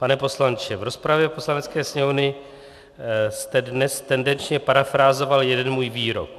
Pane poslanče, v rozpravě Poslanecké sněmovny jste dnes tendenčně parafrázoval jeden můj výrok.